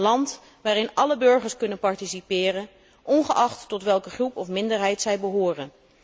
Een land waarin alle burgers kunnen participeren, ongeacht tot welke groep of minderheid zij behoren.